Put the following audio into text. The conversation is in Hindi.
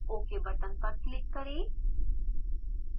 ok button पर click करें